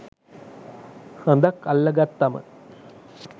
හඳක් අල්ලගත්තම.